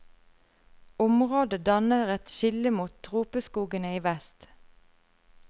Området danner et skille mot tropeskogene i vest.